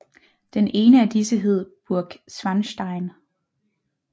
Den ene af disse hed Burg Schwanstein